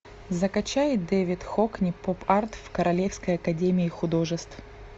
закачай дэвид хокни поп арт в королевской академии художеств